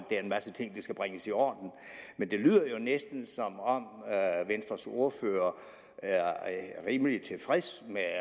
er en masse ting der skal bringes i orden men det lyder jo næsten som om venstres ordfører er rimelig tilfreds med at